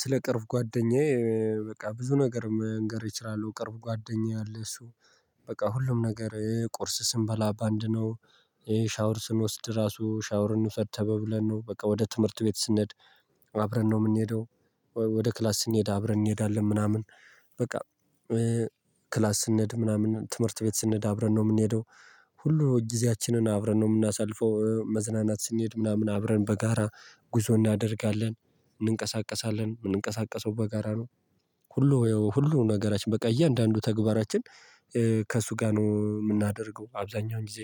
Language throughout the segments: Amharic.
ስለ ቅርብ ጓደኛዬ በቃ ብዙ ነገር መንገር እችላለሁ ቅርብ ጓደኛዬ አለ። እሱ በቃ ሁሉም ነገር ቁርስ ስንበላ በአንድ ነው። ሻወር ስንወስድ ራሱ ሻወር እንውሰድ ተባብለን ነው በቃ ወደ ትምህርት ቤት ስንሄድ። አብረን ነው እምንሄደው ወደ ክላስ ስንሄድ አብረን እንሄዳለን ምናምን። በቃ ክላስ ስንሄድ ምናምን ትምህርት ቤት ስንሄድ አብረን ነው እምንሄደው። ሁሉ ጊዜያችንን አብረን ነው እምናሳልፈው መዝናናት ስንሄድ ምናምን አብረን በጋራ ጉዞ እናደርጋለን እንንቀሳቀሳለን እምንንቀሳቀሰው በጋራ ነው። ሁሉ ሁሉንም ነገራችን በቃ እያንዳንዱ ተግባራችን ከእሱ ጋር ነው እምናደርገው አብዛኛውን ጊዜ።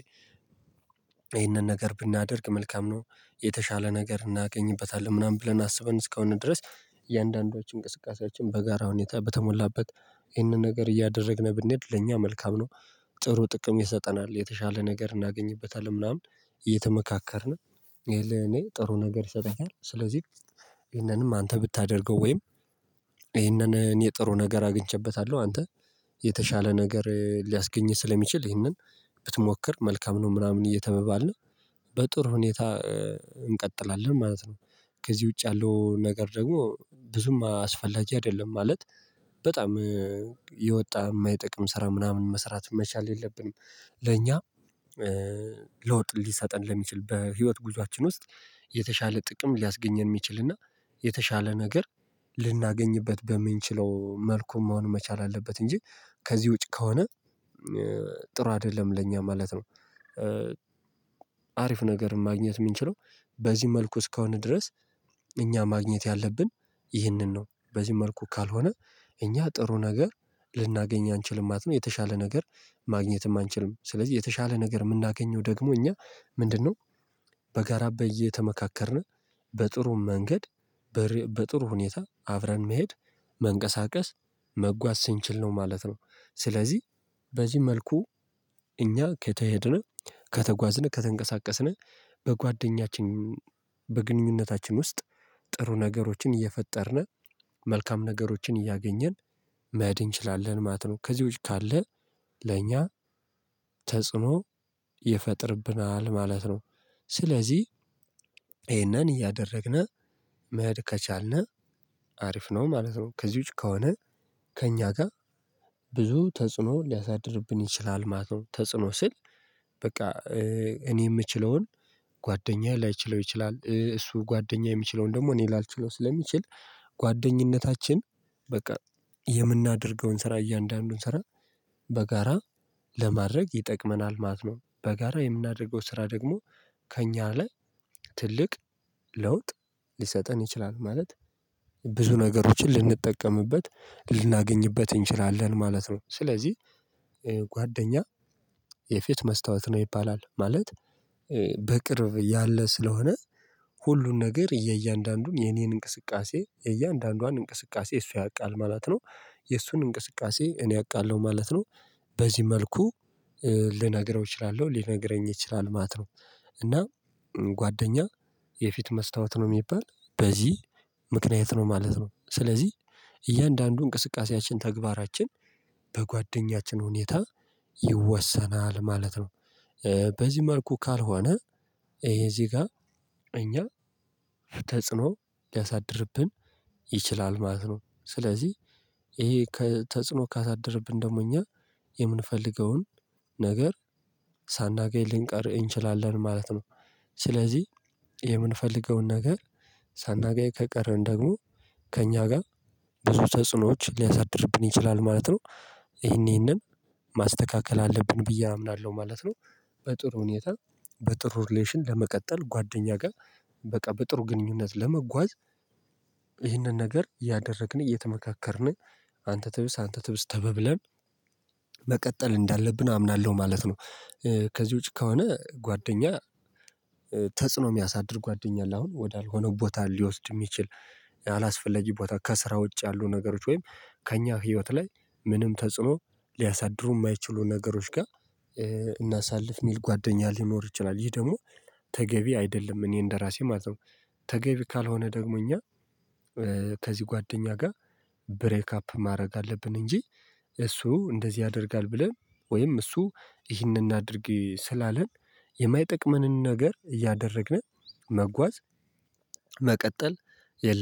ይሄንን ነገር ብናደርግ መልካም ነው። የተሻለ ነገር እናገኝበታለን ምናምን ብለን አስበን እስከሆነ ድረስ እያንዳንዱ እንቅስቃሴያችን በጋራ ሁኔታ በተሞላበት ይህንን ነገር እያደረግን ብንሄድ ለእኛ መልካም ነው። ጥሩ ጥቅም ይሰጠናል የተሻለ ነገር እናገኝበታለን ምናምን። እየተመካከርን ይሄ ለእኔ ጥሩ ነገር ይሰጣታል። ስለዚህ ይሄንንም አንተ ብታደርገው ወይም? ይህንን እኔ ጥሩ ነገር አግኝቼበታለሁ አንተ። የተሻለ ነገር ሊያስገኝህ ስለሚችል ይህንን ብትሞክር መልካም ነው ምናምን እየተበባልን በጥሩ ሁኔታ እንቀጥላለን ማለት ነው። ከዚህ ውጭ ያለው ነገር ደግሞ ብዙም አስፈላጊ አይደለም ማለት። በጣም የወጣ እማይጠቅም ስራ ምናምን መስራት መቻል የለብንም። ለኛ ለውጥ ሊሰጠን ለሚችል በህይወት ጉዟችን ውስጥ የተሻለ ጥቅም ሊያስገኘን እሚችልና የተሻለ ነገር ልናገኝበት በምንችለው መልኩ መሆን መቻል አለበት እንጂ ከዚህ ውጪ ከሆነ ጥሩ አይደለም ለእኛ ማለት ነው። አሪፍ ነገር ማግኘት እምንችለው በዚህ መልኩ እስከሆነ ድረስ። እኛ ማግኘት ያለብን ይህንን ነው በዚህ መልኩ ካልሆነ እኛ ጥሩ ነገር ልናገኝ አንችልም ማለት ነው። የተሻለ ነገር ማግኘትም አንችልም ስለዚህ የተሻለ ነገር እምናገኘው ደግሞ እኛ ምንድነው? በጋራ እየተመካከርነ በጥሩ መንገድ በጥሩ ሁኔታ አብረን መሄድ መንቀሳቀስ መጓዝ ስንችል ነው ማለት ነው። ስለዚህ በዚህ መልኩ እኛ ከተሄድን ከተጓዝን ከተንቀሳቀስን በጓደኛችን በግንኙነታችን ውስጥ ጥሩ ነገሮችን እየፈጠርን መልካም ነገሮችን እያገኘን መሄድ እንችላለን ማለት ነው። ከዚህ ውጪ ካለ ለእኛ ተጽዕኖ ይፈጥርብናል ማለት ነው። ስለዚህ ይሄንን እያደረግን መሄድ ከቻልን አሪፍ ነው ማለት ነው። ከዚ ውጭ ከሆነ ከእኛ ጋር ብዙ ተጽዕኖ ሊያሳድርብን ይችላል ማለት ነው። ተጽዕኖ ስል በቃ እኔ እምችለውን ጓደኛ ላይችለው ይችላል እሱ ጓደኛ የሚችለውን ደግሞ እኔ ላልችለው ስለምችል ጓደኝነታችን በቃ የምናደርገውን ስራ እያንዳንዱን ስራ በጋራ ለማድረግ ይጠቅመናል ማለት ነው። በጋራ የምናደርገው ስራ ደግሞ ከእኛ ላይ ትልቅ ለውጥ ሊሰጠን ይችላል። ማለት ብዙ ነገሮችን ልንጠቀምበት ልናገኝበት እንችላለን ማለት ነው። ስለዚህ ጓደኛ የፊት መስታወት ነው ይባላል ማለት በቅርብ ያለ ስለሆነ ሁሉን ነገር የእያንዳንዱን የኔን እንቅስቃሴ የእያንዳንዷን እንቅስቃሴ እሱ ያውቃል ማለት ነው። የእሱን እንቅስቃሴ እኔ አውቃለሁ ማለት ነው። በዚህ መልኩ ልነግረው እችላለሁ ሊነግረኝ ይችላል ማለት ነው። እና ጓደኛ የፊት መስታወት ነው እሚባል በዚህ ምክንያት ነው ማለት ነው። ስለዚህ እያንዳንዱ እንቅስቃሴያችን ተግባራችን በጓደኛችን ሁኔታ ይወሰናል ማለት ነው። በዚህ መልኩ ካልሆነ ይሄ እዚህ ጋር እኛ ተጽዕኖ ሊያሳድርብን ይችላል ማለት ነው። ስለዚህ ይሄ ከተጽዕኖ ካሳደረብን ደግሞ እኛ የምንፈልገውን ነገር ሳናገኝ ልንቀር እንችላለን ማለት ነው። ስለዚህ የምንፈልገውን ነገር ሳናገኝ ከቀረን ደግሞ ከእኛ ጋር ብዙ ተጽዕኖዎች ሊያሳድርብን ይችላል ማለት ነው። ይሄን ይሄንን ማስተካከል አለብን ብዬ አምናለሁ ማለት ነው። በጥሩ ሁኔታ በጥሩ ሪሌሽን ለመቀጠል ጓደኛ ጋር በቃ በጥሩ ግንኙነት ለመጓዝ ይህንን ነገር ያደረግን እየተመካከርን አንተ ትብስ አንተ ትብስ ተበብለን መቀጠል እንዳለብን አምናለሁ ማለት ነው። ከዚህ ውጪ ከሆነ ጓደኛ ተጽኖ የሚያሳድር ጓደኛ አለ አሁን ወዳልኩ ቦታ ሊወስድ እሚችል አላስፈለጊ ቦታ ከስራ ውጭ ያሉ ነገሮች ወይም ከእኛ ህይወት ላይ ምንም ተጽዕኖ ሊያሳድሩ እማይችሉ ነገሮች ጋር እናሳልፍ እሚል ጓደኛ ሊኖር ይችላል። ይሄ ደግሞ ተገቢ አይደለም። እኔ እንደራሴ ማለት ተገቢ ካልሆነ ደግሞ እኛ ከዚህ ጓደኛ ጋር ብሬክ አፕ ማድረግ አለብን። እንጂ እሱ እንደዚህ ያደርጋል ብለን ወይም እሱ ይህንን አናድርግ ስላለን የማይጠቅመንን ነገር እያደረግን መጓዝ መቀጠል የለብንም